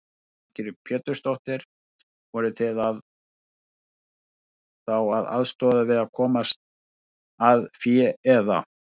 Lillý Valgerður Pétursdóttir: Voruð þið þá að aðstoða við að komast að fé eða?